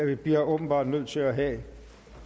vi bliver åbenbart nødt til at have